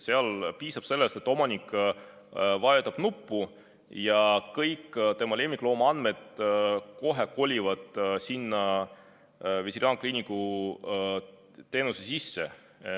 Seal piisab sellest, et omanik vajutab nuppu ja kõik tema lemmiklooma andmed kolivad kohe sinna veterinaarkliiniku teenusesse.